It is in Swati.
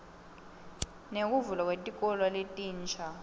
nekuvulwa kwetikolo letinsha